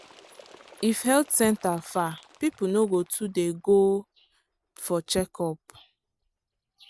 if health centre far people no go too dey go for checkup.